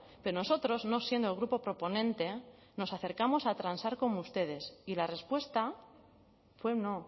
pero nosotros no siendo el grupo proponente nos acercamos a transar con ustedes y la respuesta fue no